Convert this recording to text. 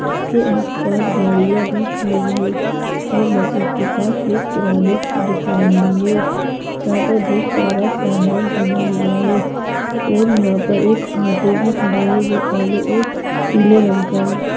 उसके आस-पास गाडियां भी खड़ी है और मस्जिद के पास एक किराने की दुकान भी हैं जहां पर बहुत सारा सामान टंगा हुआ है और यहां पर एक ऑटो भी खड़ा है जो काले और पीले रंग का है।